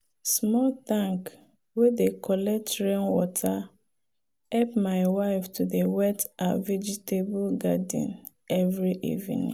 small tank wey dey collect rainwater help my wife to dey wet her vegetable garden every evening.